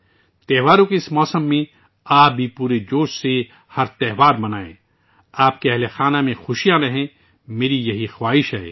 اس تہوار کے موسم میں، آپ بھی ہر تہوار پورے جوش و خروش کے ساتھ منائیں، آپ کے خاندان میں خوشیاں آئیں یہ میری تمنا ہے